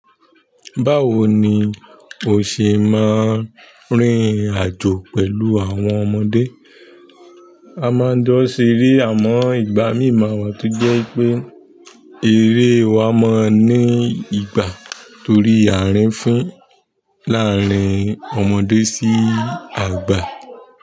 Báwo ni o ṣe máa n rìn àjò pẹ̀lú àwọn ọmọdé? A máa njo se ere amo ìgbà mí mawà, tojẹ́ pé eré wa máa ní ìgbà torí ààrín fín láàárín ọmọdé sí àgbà.